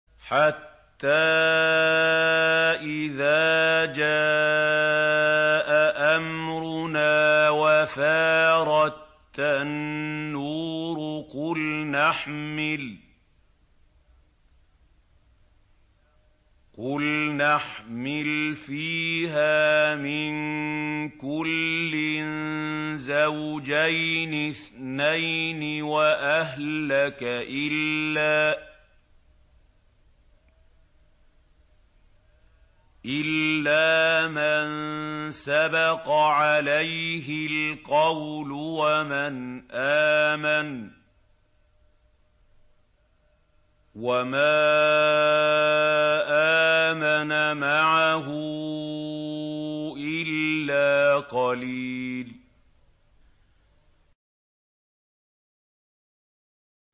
حَتَّىٰ إِذَا جَاءَ أَمْرُنَا وَفَارَ التَّنُّورُ قُلْنَا احْمِلْ فِيهَا مِن كُلٍّ زَوْجَيْنِ اثْنَيْنِ وَأَهْلَكَ إِلَّا مَن سَبَقَ عَلَيْهِ الْقَوْلُ وَمَنْ آمَنَ ۚ وَمَا آمَنَ مَعَهُ إِلَّا قَلِيلٌ